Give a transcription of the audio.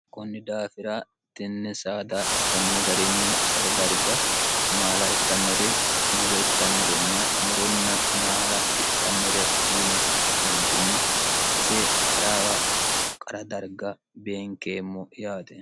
kunni daafira tinni saada kunni garinni tsase darga maala ittannore muro ittannorenna muronna maala itxannore yine ka'neentinni sase qaraawa qara darga beenkeemmo yaate